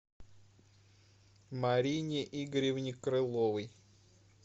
марине игоревне крыловой